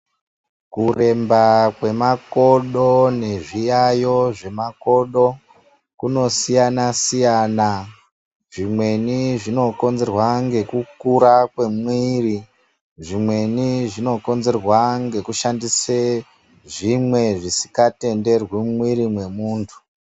Kuremba kwemakodo nezviyaiyo zvemakodo kunosiyana siyana. Zvimweni zvinokonzerwa nekukura kwemwiri, zvimweni zvinokonzera nekushandise zvimwe zvisingatenderwi mumwiri mwemuntu.